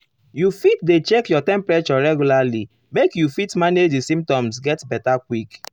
you fit dey check your temperature regular make you fit manage di symptoms get beta quick.